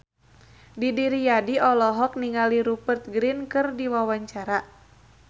Didi Riyadi olohok ningali Rupert Grin keur diwawancara